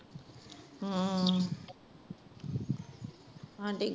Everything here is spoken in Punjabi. ਹੂ ਆਂਢੀ